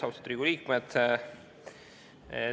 Austatud Riigikogu liikmed!